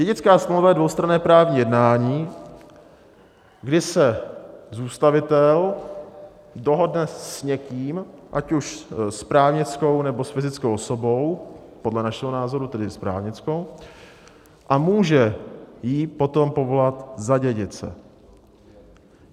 Dědická smlouva je dvoustranné právní jednání, kdy se zůstavitel dohodne s někým, ať už s právnickou, nebo s fyzickou osobou, podle našeho názoru tedy s právnickou, a může ji potom povolat za dědice.